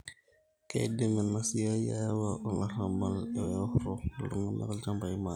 keidim enasiai ayau olarabal eworo iltungana ilchambai maate